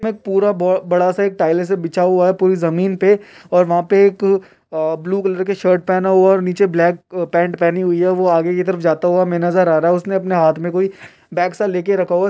ये पूरा बो बड़ा सा टाइल्स बिछा हुआ है पूरी जमीन पे और वहां पे एक अ ब्लु कलर की शर्ट पहना हुआ है नीचे ब्लैक अ पेंट पहनी हुई है | वो आगे की तरफ जाता हुआ हमें नजर आ रहा है। उसने अपने हाथ में कोई बेग सा लेके रखा हुआ--